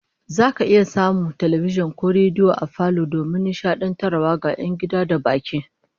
Zaka samu talbijin ko rediyo ne a falo domin nishadantarwa ga 'yan gida da baki